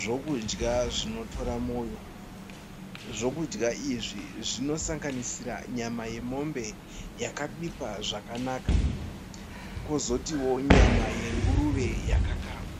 Zvokudya zvinotora moyo. Zvokudya izvi zvinosanganisira nyama yemombe, yakabikwa zvakanaka kozotiwo nyama yenguruve yakakangwa.